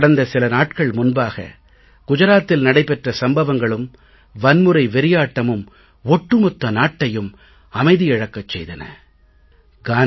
கடந்த சில நாட்கள் முன்பாக குஜராத்தில் நடைபெற்ற சம்பவங்களும் வன்முறை வெறியாட்டமும் ஒட்டு மொத்த நாட்டையும் அமைதி இழக்கச் செய்தன இது இயல்பான ஒரு உணர்வு தான்